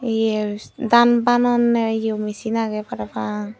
ye dan banonne ye misin age para pang.